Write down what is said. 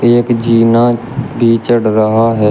एक जीना भी चढ़ रहा है।